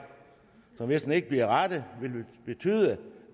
som hvis den ikke bliver rettet vil betyde